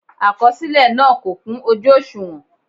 Àkọsílẹ náà kò kún ojú òṣùwọ̀n.